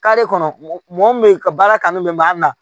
kɔnɔ mɔgɔ min be yen ka baara kanu be makan na